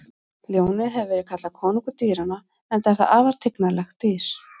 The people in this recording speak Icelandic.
Ljónið hefur verið kallað konungur dýranna enda er það afar tignarlegt dýr.